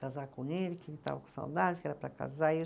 Casar com ele, que ele estava com saudades, que era para casar.